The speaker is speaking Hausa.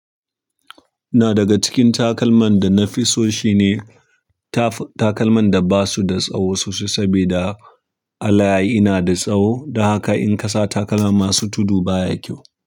Na daga cikin takalman da na fi so shine ta-takalman da ba su da tsawo sosai sabida al'ayi na da tsawo, don haka in ka sa takalma masu tudu baya kyau.